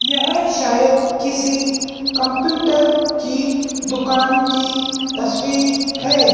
यह शायद किसी कंप्यूटर की दुकान की तस्वीर है।